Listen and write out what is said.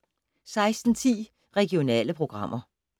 16:10: Regionale programmer